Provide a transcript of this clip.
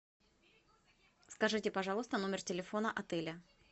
скажите пожалуйста номер телефона отеля